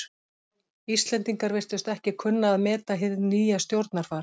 Íslendingar virtust ekki kunna að meta hið nýja stjórnarfar.